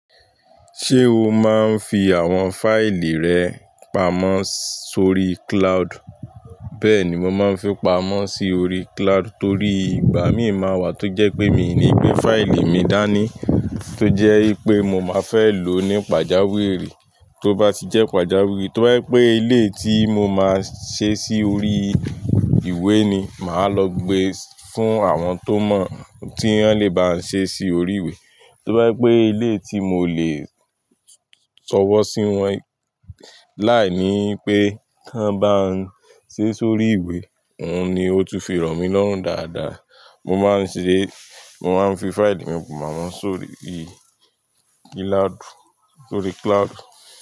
Ṣé o máa ń fi àwọn fáìlì rẹ pamọ́ sórí cloud? Bẹ́ẹ̀ni, mo máa ń fi pamọ́ sí orí cloud torí ìgbà míi máa wà tó jẹ́ pé mi ò ní gbé fáìlì mi dání. Tó jẹ́ pé mo máa fẹ́ lò ó ní pàjáwìrì. Tó bá ti jẹ́ pàjáwìrì, tó bá jẹ́ pé eleyi tí mo máa ṣe sí orí ìwé ni, màá lọ gbe fún àwọn tó mọ̀ tí wọ́n lè bá n ṣe sí orí ìwé. Tó bá jẹ́ pé eleyi tí mo lè sọ̀wọ́ sí wọ́n, láìní pé kí wọ́n bá ń ṣe sórí ìwé, òun ni ó tún fi rọmi lọ́rùn dáadáa. Mo máa ń ṣe, mo máa ń fi fáìlì mi pamọ́ sórí ì cloud, sórí cloud.